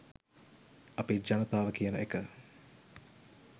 අපි ජනතාව කියන එක